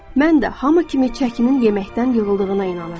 Mən də hamı kimi çəkinin yeməkdən yığıldığına inanırdım.